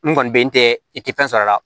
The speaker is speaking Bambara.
N kɔni bɛ n tɛ i tɛ fɛn sɔrɔ a la